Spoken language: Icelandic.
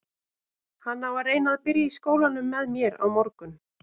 Hann á að reyna að byrja í skólanum með mér á morgun.